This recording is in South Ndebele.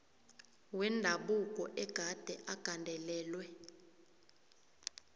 wendabuko agade agandelelwe